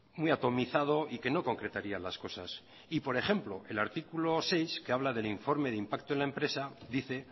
muy atomizado y que no concretaría las cosas y por ejemplo el artículo seis que habla del informe de impacto en la empresa dice